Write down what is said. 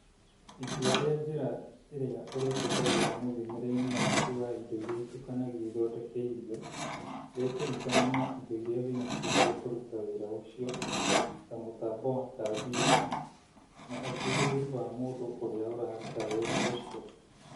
Itua rĩa njĩra ĩrĩa ũrĩhũthagĩra mũthimĩre-inĩ waku wa indo iria itukanagio ithondeke irio rĩkũringana na indo iria wĩ nacio cia kũruta wĩra ũcio ( ta mũtambo wa kambiuta) na ũhĩgĩrĩrũ wa mũndũ ũrĩa ũraruta wĩra ũcio.